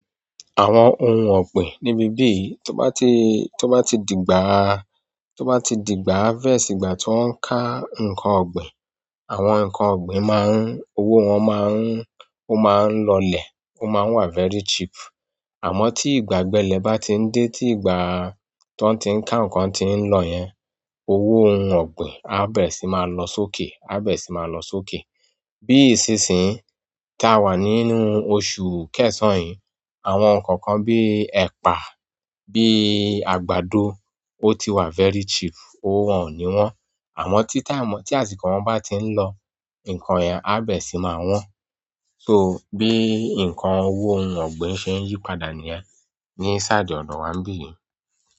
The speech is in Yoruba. Àwọn ohun ọ̀gbìn níbi bíi tó bá ti, to bá ti dìgbà, toba ti digba harvest ìgbà tiwo n' ka nkan. Ogbin. Àwọn nkan ogbin maa n, owo won ma n oma n' lole, o maa n' wa very cheap. Amo ti ìgbà ogbele ba ti n' de, ti ìgbà. Tiwon ti ń ka nǹkan ti ń lọ yẹn, owó ohun ọ̀gbìn á bẹ̀re sì máa lọ sókè, á bẹ̀re sì máa lọ sókè. Bíi ìsinsìnyí tí a wà nínú oṣù kẹsàn-án yìí, àwọn nǹkan kan bíi ẹ̀pà, bíi àgbàdo ó ti wà very cheap, owó wọ́n oni won. Àmọ́ tí táìmù, tí àsìkò wọn bá ti ń lọ, nǹkan yẹn á bẹ̀re sì máa wọ́n. So bí nǹkan owó ohun ọ̀gbìn ṣe ń yípadà níyen ní ṣáidi ọdọ̀ wa níbí yìí.